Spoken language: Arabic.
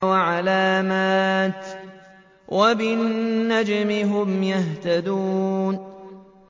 وَعَلَامَاتٍ ۚ وَبِالنَّجْمِ هُمْ يَهْتَدُونَ